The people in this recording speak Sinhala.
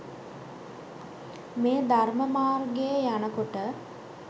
මේ ධර්ම මාර්ගයේ යන කොට